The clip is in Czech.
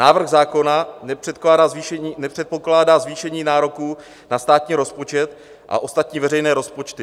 Návrh zákona nepředpokládá zvýšení nároků na státní rozpočet a ostatní veřejné rozpočty.